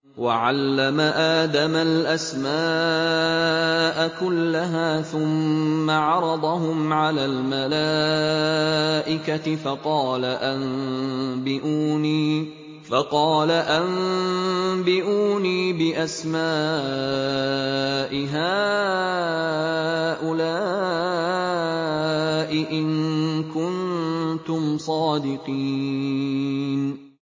وَعَلَّمَ آدَمَ الْأَسْمَاءَ كُلَّهَا ثُمَّ عَرَضَهُمْ عَلَى الْمَلَائِكَةِ فَقَالَ أَنبِئُونِي بِأَسْمَاءِ هَٰؤُلَاءِ إِن كُنتُمْ صَادِقِينَ